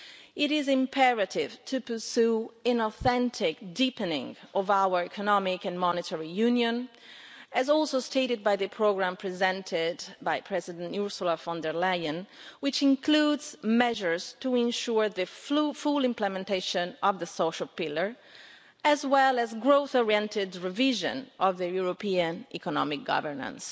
It is imperative to pursue an authentic deepening of our economic and monetary union, as was stated too in the programme presented by Commission President elect Ursula von der Leyen, which includes measures to ensure the full implementation of the social pillar, as well as growth oriented revision of European economic governance.